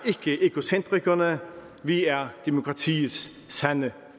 ikke egocentrikerne vi er demokratiets sande